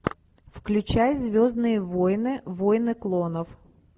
включай звездные войны войны клонов